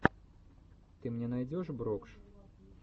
ты мне найдешь брокш